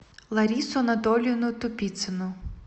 ларису анатольевну тупицыну